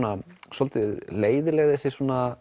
svolítið leiðinleg þessi